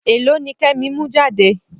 Èlò ni Kẹ́mi mú jáde?